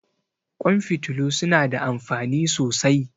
Ƙwan fitilu su na da amfani sosai